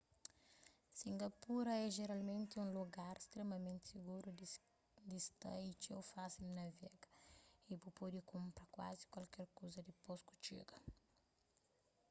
singapura é jeralmenti un lugar stremamenti siguru di sta y txeu fásil di navega y bu pode kunpra kuazi kualker kuza dipôs ku txiga